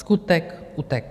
Skutek utek.